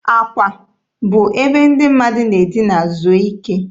Akwa bụ ebe ndị mmadụ na-edina zuo ike.